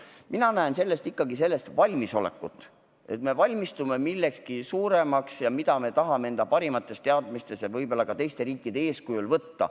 Mina näen selles ikkagi valmisolekut, et me valmistume millekski suuremaks, mida me tahame enda parimate teadmiste järgi ja võib-olla ka teiste riikide eeskujul üle võtta.